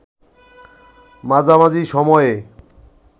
মাঝামাঝি সময়ে